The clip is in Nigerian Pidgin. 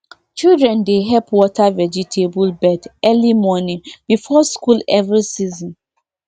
children dey help water vegetable bed early morning before school every season